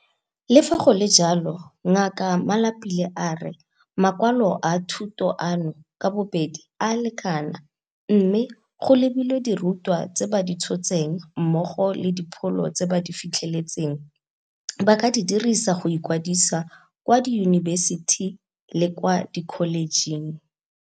Le fa go le jalo, Ngaka Malapile a re makwalo a thuto ano ka bobedi a lekana mme, go lebilwe dirutwa tse ba di tshotseng mmogo le dipholo tse ba di fitlheletseng, ba ka di dirisa go ikwadisa kwa diyunibesiti le kwa dikholejeng.